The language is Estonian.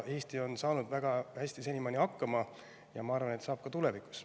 Eesti on senimaani saanud sellega väga hästi hakkama ja ma arvan, et saab ka tulevikus.